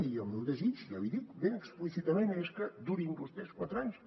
i el meu desig ja l’hi he dit ben explícitament és que durin vostès quatre anys